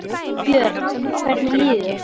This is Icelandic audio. Björn: Hvernig líður þér?